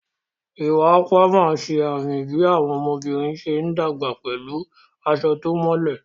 Iwa Akwa ṣe àmì bí àwọn ọmọbìnrin ṣe ń dàgbà pẹ̀lú aṣọ tó mọ́lẹ̀.